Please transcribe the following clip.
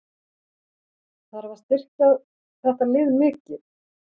Þarf að styrkja þetta lið mikið?